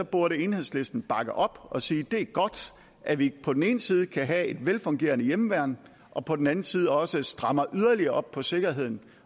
burde enhedslisten bakke op og sige det er godt at vi på den ene side kan have et velfungerende hjemmeværn og på den anden side også strammer yderligere op på sikkerheden